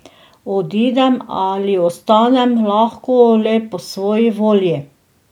Odidem ali ostanem lahko le po svoji volji.